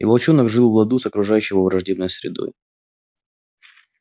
и волчонок жил в ладу с окружающей его враждебной средой